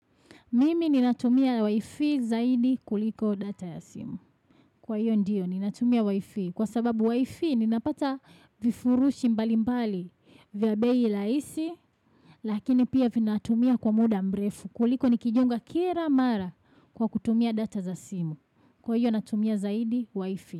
Mimi ninatumia Wi-Fi zaidi kuliko data ya simu. Kwa hiyo ndiyo ninatumia Wi-Fi. Kwa sababu Wi-Fi ninapata vifurushi mbali mbali vya bei laisi. Lakini pia vinatumia kwa muda mrefu. Kuliko nikijunga kira mara kwa kutumia data za simu. Kwa hiyo natumia zaidi Wi-Fi.